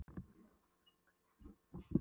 Hver á hana? spurði Örn undrandi.